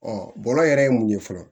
bɔlɔ yɛrɛ ye mun ye fɔlɔ